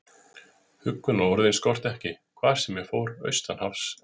Huggunarorðin skorti ekki, hvar sem ég fór, austan hafs og vestan.